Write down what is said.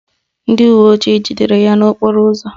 Ndị uwe ojii jidere ya n'okporo ụzọ